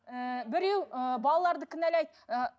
ііі біреу ыыы балаларды кінәлайды ыыы